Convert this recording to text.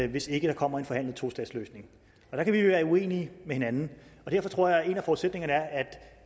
hvis ikke der kommer en forhandlet tostatsløsning der kan vi være uenige med hinanden og derfor tror jeg at en af forudsætningerne er at